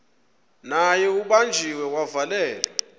naye ubanjiwe wavalelwa